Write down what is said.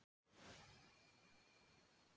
Birkir hlaut fjögurra ára dóm.